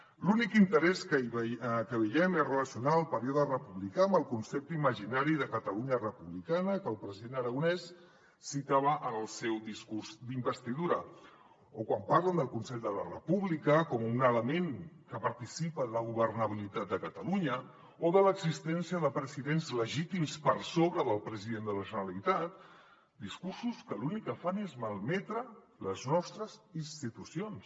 l’únic interès que hi veiem és relacionar el període republicà amb el concepte imaginari de catalunya republicana que el president aragonès citava en el seu discurs d’investidura o quan parlen del consell per la república com un element que participa en la governabilitat de catalunya o de l’existència de presidents legítims per sobre del president de la generalitat discursos que l’únic que fan és malmetre les nostres institucions